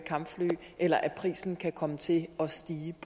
kampfly eller at prisen kan komme til at stige